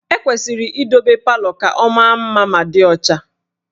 E kwesịrị idobe palọ ka ọ maa mma ma dị ọcha